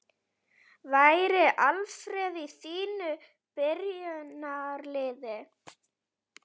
Væri Alfreð í þínu byrjunarliði?